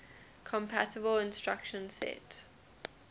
compatible instruction set